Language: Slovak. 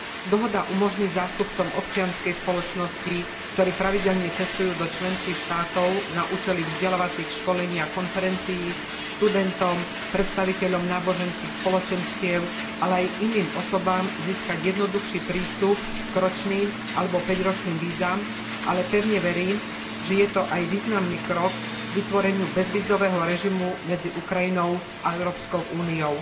Dohoda umožní zástupcom občianskej spoločnosti, ktorí pravidelne cestujú do členských štátov na účely vzdelávacích školení a konferencií, študentom, predstaviteľom náboženských spoločenstiev, ale aj iným osobám získať jednoduchší prístup k ročným alebo päťročným vízam, ale pevne verím, že je to aj významný krok k vytvoreniu bezvízového režimu medzi Ukrajinou a Európskou úniou.